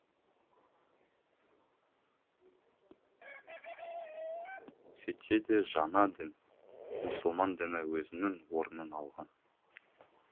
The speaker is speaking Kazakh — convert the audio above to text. сөйтсе де жаңа дін мұсылман діні өзінің орнын алған